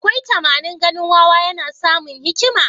Akwai tamanin ganin wawa yana samun hikima?